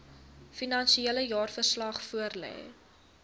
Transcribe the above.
finansiële jaarverslag voorlê